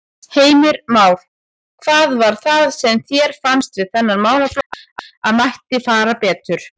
Heimir Már: Hvað var það sem þér fannst við þennan málaflokk að mætti fara betur?